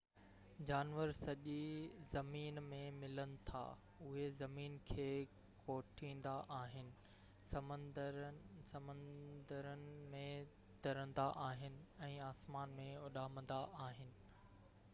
جانور سڄي زمين ۾ ملن ٿا اهي زمين کي کوٽيندا آهن سمنڊن ۾ ترندا آهن ۽ آسمان ۾ اڏامندا آهن